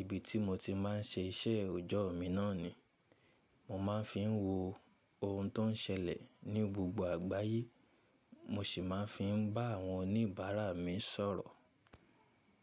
ibi tí mo ti má ń ṣe iṣẹ́ òjọ́ mi náà ni, mo má ń fi wo ohun tó ń ṣẹlẹ̀ ní gbogbo àgbáyé, mo sì má ń fi bá àwọn oníbàárà mi sọ̀rọ̀.